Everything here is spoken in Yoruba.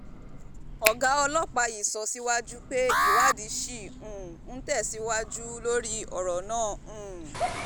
ọ̀gá ọlọ́pàá yìí sọ síwájú pé ìwádìí ṣì um ń tẹ̀síwájú lórí ọ̀rọ̀ náà um